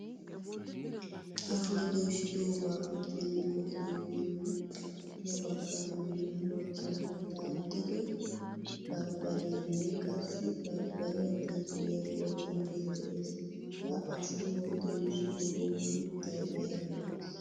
Ashuwwa doysidoga budenan qolidogene ya baggaaranne ha baggaara daaxido babrariyanne qassi barbariya xiiliya qolidoge de'ees. Ha ashuwaa doyssidogawu sunttay aybe?